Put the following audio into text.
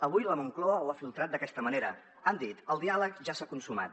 avui la moncloa ho ha filtrat d’aquesta manera han dit el diàleg ja s’ha consumat